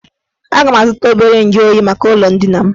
Aga m azụta obere nju oyi maka ụlọ ndina m